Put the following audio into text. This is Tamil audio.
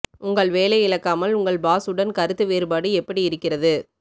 உங்கள் வேலை இழக்காமல் உங்கள் பாஸ் உடன் கருத்து வேறுபாடு எப்படி இருக்கிறது